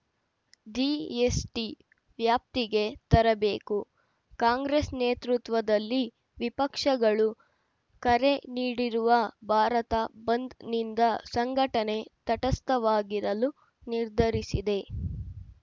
GST ವ್ಯಾಪ್ತಿಗೆ ತರಬೇಕು ಕಾಂಗ್ರೆಸ್‌ ನೇತೃತ್ವದಲ್ಲಿ ವಿಪಕ್ಷಗಳು ಕರೆ ನೀಡಿರುವ ಭಾರತ ಬಂದ್‌ನಿಂದ ಸಂಘಟನೆ ತಟಸ್ಥವಾಗಿರಲು ನಿರ್ಧರಿಸಿದೆ